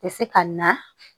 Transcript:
Tɛ se ka na